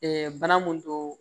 bana mun don